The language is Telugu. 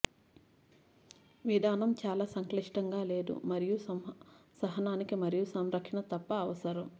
విధానం చాలా సంక్లిష్టంగా లేదు మరియు సహనానికి మరియు సంరక్షణ తప్ప అవసరం